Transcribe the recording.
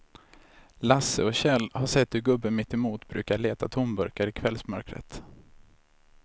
Lasse och Kjell har sett hur gubben mittemot brukar leta tomburkar i kvällsmörkret.